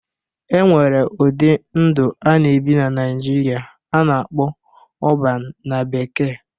E nwere ụdị ndụ a na-ebi na Naijiria a na-akpọ 'Urban' na bekee.